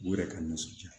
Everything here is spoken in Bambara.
U yɛrɛ ka nisɔndiya